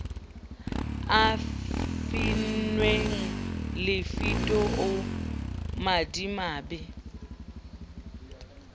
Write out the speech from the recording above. le finnweng lefito o madimabe